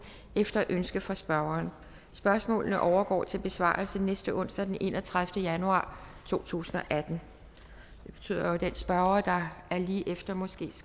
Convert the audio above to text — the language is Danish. efter ønske fra spørgeren spørgsmålene overgår til besvarelse næste onsdag den enogtredivete januar to tusind og atten det betyder jo at den spørger der er lige efter måske